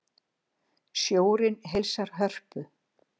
Sjórinn heilsar Hörpu